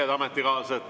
Head ametikaaslased!